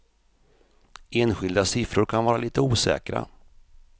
Enskilda siffror kan vara lite osäkra.